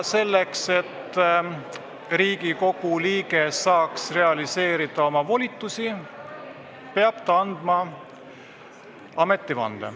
Selleks, et Riigikogu liige saaks realiseerida oma volitusi, peab ta andma ametivande.